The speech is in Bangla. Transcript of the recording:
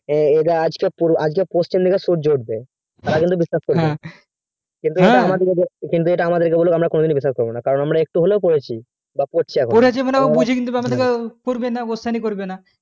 ওরে আজকে পশ্চিম দিকে সূর্য উঠবে তারা কিন্তু বিশ্বাস করবে হ্যাঁ কিন্তু যদি আমাদের কে এটা বলে তো কোনোদিন বিশ্বাস করবো না কারণ আমরা একটু হলেও পড়েছি পড়েছি মানে বুঝিঙে দিলে question করবে না